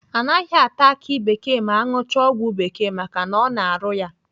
Anaghị ata aki bekee ma aṅụchaa ọgwụ bekee maka ọ na-arụ ya.